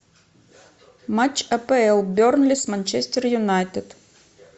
матч апл бернли с манчестер юнайтед